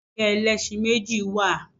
Kẹ̀kẹ́ ẹlẹ́ṣẹ̀méjì wa